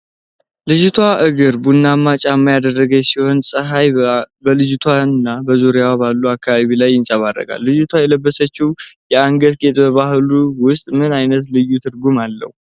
የልጅቷ እግር ቡናማ ጫማ ያደረገች ሲሆን ፀሐይ በልጅቷ እና በዙሪያዋ ባለው አካባቢ ላይ ይንፀባረቃል። ልጅቷ የለበሰችው የአንገት ጌጥ በባህሉ ውስጥ ምን ዓይነት ልዩ ትርጉም አለው?